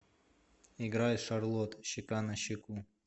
играй шарлот щека на щеку